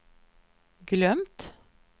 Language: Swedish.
glömt